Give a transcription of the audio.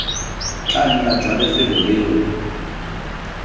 tla nna jwa lefelo leo